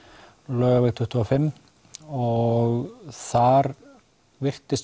Laugaveg tuttugu og fimm og þar virtist